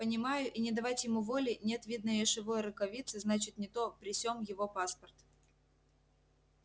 понимаю и не давать ему воли нет видно ешовы рукавицы значит не то при сем его паспорт